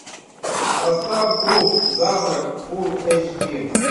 поставь клуб завтрак фул эйч ди